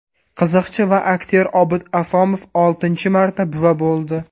Qiziqchi va aktyor Obid Asomov oltinchi marta buva bo‘ldi.